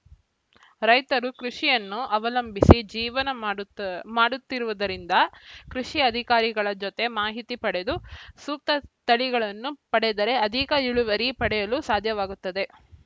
ರೈತರು ಕೃಷಿಯನ್ನು ಅವಲಂಬಿಸಿ ಜೀವನ ಮಾಡುತ್ತ ಮಾಡುತ್ತಿರುವುದರಿಂದ ಕೃಷಿ ಅಧಿಕಾರಿಗಳ ಜೊತೆ ಮಾಹಿತಿ ಪಡೆದು ಸೂಕ್ತ ತಳಿಗಳನ್ನು ಪಡೆದರೆ ಅಧಿಕ ಇಳುವರಿ ಪಡೆಯಲು ಸಾಧ್ಯವಾಗುತ್ತದೆ